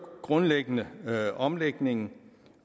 grundlæggende omlægningen